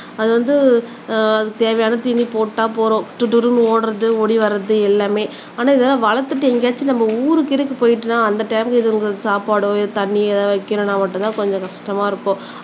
அது வந்து தேவையான தீனி போட்டா போதும் துறு துறுன்னு ஓடுறது ஓடி வர்றது எல்லாமே ஆனா இதெல்லாம் வளர்த்துட்டு என்கேயாச்சும் நம்ம ஊருக்குகீருக்கு போயிடோம்னா அந்த டைம்ல இதுங்களுக்கு சாப்பாடோ தண்ணி ஏதாவது வைக்கணும்னா மட்டும் தான் கொஞ்சம் கஷ்டமா இருக்கும்